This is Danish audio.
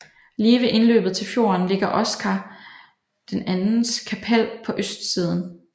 Lige ved indløbet til fjorden ligger Oscar IIs kapell på østsiden